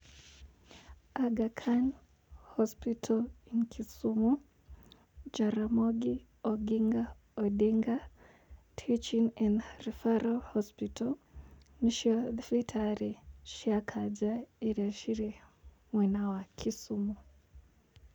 Aga Khan Hospital in Kisumu, Jaramogi Oginga Odinga Teaching and Referral Hospital, nĩ cio thibitarĩ cia kanja iria cirĩ mwena wa Kisumu.